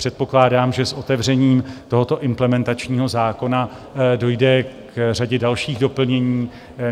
Předpokládám, že s otevřením tohoto implementačního zákona dojde k řadě dalších doplnění.